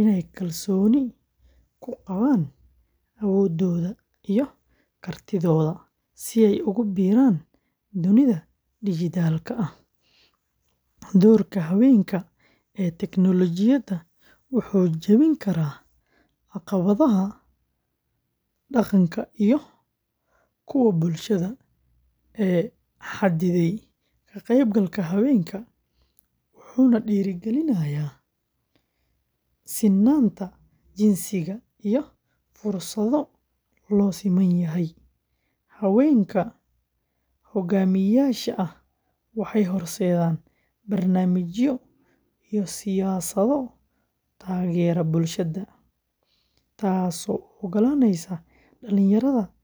inay kalsooni ku qabaan awooddooda iyo kartidooda si ay ugu biiraan dunida dhijitaalka ah. Doorka haweenka ee tignoolajiyada wuxuu jebin karaa caqabadaha dhaqanka iyo kuwa bulshada ee xaddidayay ka-qaybgalka haweenka, wuxuuna dhiirrigelinayaa sinnaanta jinsiga iyo fursado loo siman yahay. Haweenka hoggaamiyayaasha ah waxay horseedaan barnaamijyo iyo siyaasado taageera barashada, taasoo u oggolaanaysa dhalinyarada, gaar ahaan gabdhaha.